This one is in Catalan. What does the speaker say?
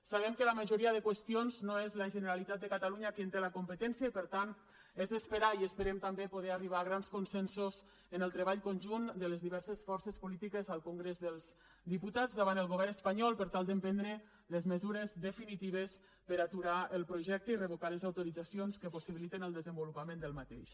sabem que la majoria de qüestions no és la generalitat de catalunya qui en té la competència i per tant és d’esperar i ho esperem també poder arribar a grans consensos en el treball conjunt de les diverses forces polítiques al congrés dels diputats davant del govern espanyol per tal d’emprendre les mesures definitives per aturar el projecte i revocar les autoritzacions que possibiliten el desenvolupament d’aquest